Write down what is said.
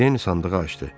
Den sandığı açdı.